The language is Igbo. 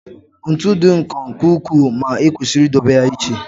ntu dị nkọ nke ukwuu ma ekwesịrị idobe ya iche